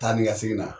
Taa ni ka segin na